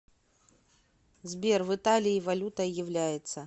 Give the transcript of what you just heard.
сбер в италии валютой является